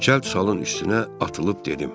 Cəld salın üstünə atılıb dedim.